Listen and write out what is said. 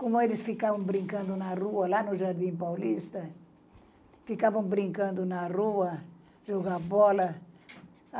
Como eles ficavam brincando na rua, lá no Jardim Paulista, ficavam brincando na rua, jogando bola.